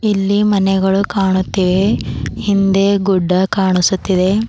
ಇಲ್ಲಿ ಮನೆಗಳು ಕಾಣುತ್ತಿವೆ ಹಿಂದೆ ಗುಡ್ಡ ಕಾಣಿಸುತ್ತಿದೆ.